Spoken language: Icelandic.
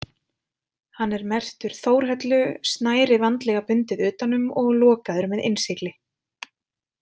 Hann er merktur Þórhöllu, snæri vandlega bundið utan um og lokaður með innsigli.